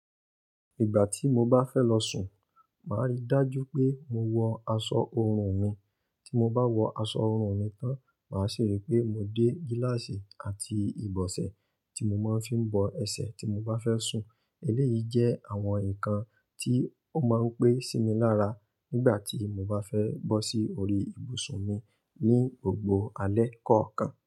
Ìgbà tí mo bá fẹ́ lọ sùn, màá rí dájú pé mo wọ aṣọ ọrùn mi, tí mo bá wọ aṣọ ọrùn mi tán, màá ṣi ri pé mo dé gíláàsì àti ìbọ̀sẹ̀ tí mo máa ń fi bọ ẹsẹ̀ tí mo bá fẹ́ sùn. Eléyìí jẹ́ àwọn nǹkan tí ó máa ń pẹ́ sí mi lára nígbà tí mo bá fẹ́ bọ́ sí orí ibùsùn mi ní gbogbo alẹ́ kọ̀ọ̀kan.